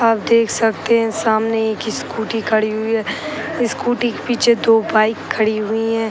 आप देख सकते हैं सामने एक स्कूटी खड़ी हुई है। स्कूटी के पीछे दो बाइक खड़ी हुई हैं।